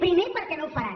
primer perquè no ho faran